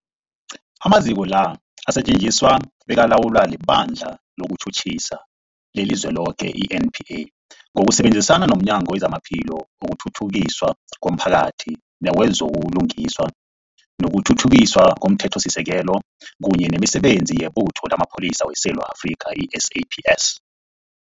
Amaziko la asetjenziswa bekalawulwa liBandla lezokuTjhutjhisa leliZweloke, i-NPA, ngokusebenzisana nomnyango wezamaPhilo, wokuthuthukiswa komphakathi newezo buLungiswa nokuThuthukiswa komThethosisekelo, kunye nemiSebenzi yeButho lamaPholisa weSewula Afrika, i-SAPS.